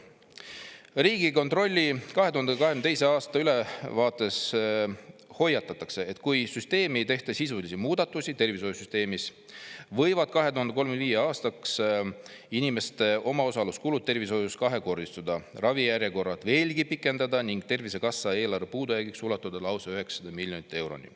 Riigikontrolli 2022. aasta ülevaates hoiatatakse, et kui tervishoiusüsteemis ei tehta sisulisi muudatusi, siis võivad 2035. aastaks inimeste omaosaluskulud tervishoius kahekordistuda, ravijärjekorrad veelgi pikeneda ning Tervisekassa eelarve puudujääk ulatuda lausa 900 miljonit euroni.